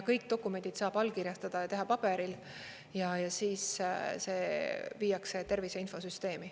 Kõik dokumendid saab allkirjastada ja teha paberil, see viiakse tervise infosüsteemi.